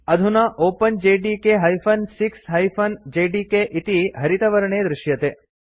अधुना openjdk 6 JDK इति हरितवर्णे दृश्यते